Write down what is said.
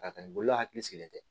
Ka taa ni bolo hakili sigilen tɛ